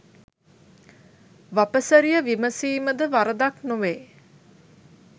වපසරිය විමසීම ද වරදක් නොවේ